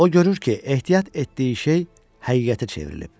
O görür ki, ehtiyat etdiyi şey həqiqətə çevrilib.